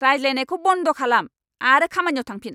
रायज्लायनायखौ बन्द' खालाम आरो खामानियाव थांफिन।